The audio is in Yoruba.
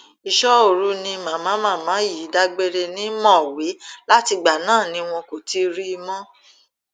iṣọoru ni màmá màmá yìí dágbére ní mọwé látìgbà náà ni wọn kò ti rí i mọ